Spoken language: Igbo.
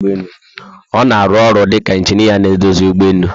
Ona arụ ọrụ dika ingineer na edozi ụgbọelu